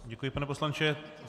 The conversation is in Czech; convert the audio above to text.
Děkuji, pane poslanče.